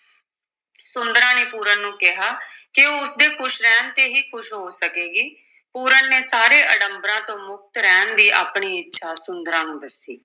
ਸੁੰਦਰਾਂ ਨੇ ਪੂਰਨ ਨੂੰ ਕਿਹਾ ਕਿ ਉਸ ਦੇ ਖੁਸ਼ ਰਹਿਣ ਤੇ ਹੀ ਖੁਸ਼ ਹੋ ਸਕੇਗੀ, ਪੂਰਨ ਨੇ ਸਾਰੇ ਅਡੰਬਰਾਂ ਤੋਂ ਮੁਕਤ ਰਹਿਣ ਦੀ ਆਪਣੀ ਇੱਛਾ ਸੁੰਦਰਾਂ ਨੂੰ ਦੱਸੀ।